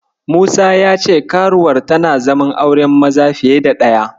Musa ya ce karuwar tana zaman auren maza fiye da ɗaya.